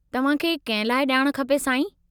तव्हांखे कंहिं लाइ ॼाण खपे, साईं?